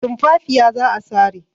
Tumfafiya za a sare.